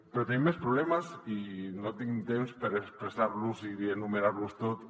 però tenim més problemes i no tinc temps per expressar los i enumerar los tots